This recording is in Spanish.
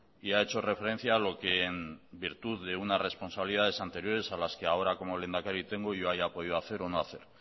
y ha hecho referencia a lo que en virtud de unas responsabilidades anteriores a las que ahora como lehendakari tengo yo haya podido hacer o no hacer